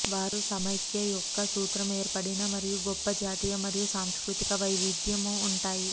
వారు సమాఖ్య యొక్క సూత్రం ఏర్పడిన మరియు గొప్ప జాతీయ మరియు సాంస్కృతిక వైవిధ్యం ఉంటాయి